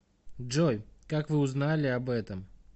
джой как вы узнали об этом